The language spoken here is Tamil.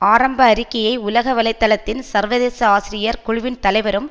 ஆரம்ப அறிக்கையை உலக வலை தளத்தின் சர்வதேச ஆசிரியர் குழுவின் தலைவரும்